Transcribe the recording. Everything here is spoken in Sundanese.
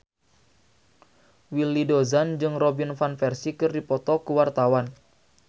Willy Dozan jeung Robin Van Persie keur dipoto ku wartawan